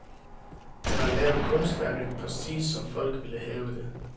Han har lavet kunstværket præcist, som folk vil have det.